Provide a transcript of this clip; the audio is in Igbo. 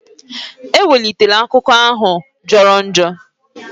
Ewelitela akụkọ ógà ahụ jọrọ njọ!